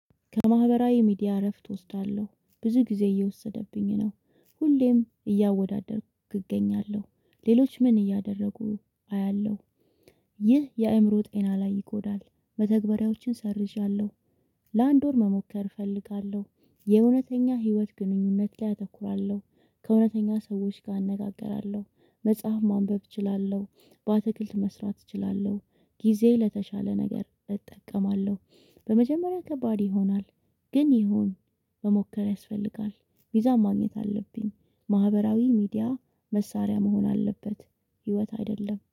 ከማህበራዊ ሚዲያ እረፍት እወስዳለሁ። ብዙ ጊዜ እየወሰደብኝ ነው። ሁሌም እያወዳደርኩ እገኛለሁ። ሌሎች ምን እንዳደረጉ አያለሁ። ይህ የአእምሮ ጤና ላይ ይጎዳል። መተግበሪያዎችን ሰርዣለሁ። ለአንድ ወር መሞከር እፈልጋለሁ። የእውነተኛ ህይወት ግንኙነት ላይ አተኩራለሁ። ከእውነተኛ ሰዎች ጋር አነጋግራለሁ። መጽሐፍ ማንበብ እችላለሁ። በአትክልት መስራት እችላለሁ። ጊዜዬን ለተሻለ ነገር እጠቀማለሁ። በመጀመሪያ ከባድ ይሆናል ግን ይሁን። መሞከር ያስፈልጋል። ሚዛን ማግኘት አለብኝ። ማህበራዊ ሚዲያ መሳሪያ መሆን አለበት ህይወት አይደለም።